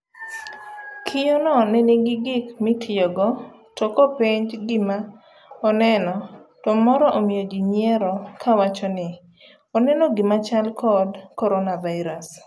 Kiyoo no nenigi gik motiyogo tokopenj gima oneno to moro omiyo ji nyiuero kowacho ni oneno gimachal kod coronavirus.